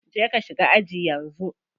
Je ka shiga aji yanzu.